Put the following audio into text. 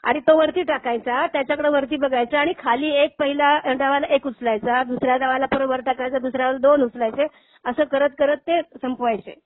आणि तो वरती टाकायचा. त्याच्याकडं वरती बघायचं आणि खाली एक पहिला डावला एक उचलायचा, दुसऱ्या डावला थोडं वर टाकायचा दुसऱ्याला दोन उचलायचे. असं करत करत ते संपवायचे.